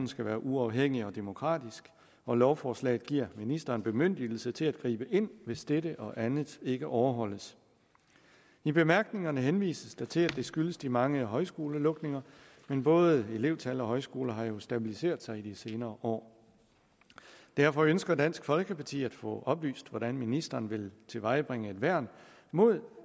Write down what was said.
skal være uafhængig og demokratisk og lovforslaget giver ministeren bemyndigelse til at gribe ind hvis dette og andet ikke overholdes i bemærkningerne henvises der til at det skyldes de mange højskolelukninger men både elevtal og højskoler har jo stabiliseret sig i de senere år derfor ønsker dansk folkeparti at få oplyst hvordan ministeren vil tilvejebringe et værn mod